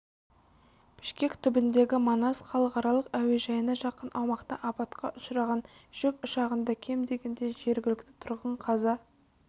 бішкек түбіндегі манас халықаралық әуежайына жақын аумақта апатқа ұшыраған жүк ұшағында кем дегенде жергілікті тұрғын қаза